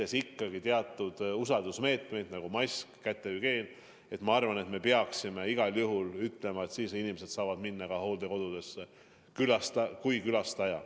Kui täidetakse ikkagi teatud usaldusmeetmeid, nagu maski kandmine ja kätehügieen, siis ma arvan, et peaksime igal juhul ütlema, et sellisel juhul saavad inimesed külastajana hooldekodudesse minna.